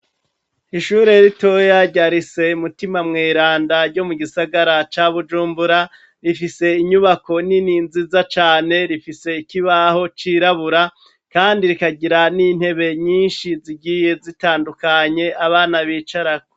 Ishure ritoya rya rise mutima mweranda ryo mu gisagara ca Bujumbura rifise inyubako nini nziza cane rifise ikibaho cirabura kandi rikagira n'intebe nyishi zigiye zitandukanye abana bicarako.